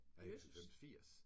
Nej ikke 90. 80!